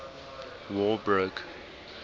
war broke